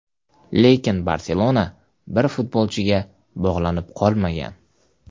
Lekin ‘Barselona’ bir futbolchiga bog‘lanib qolmagan.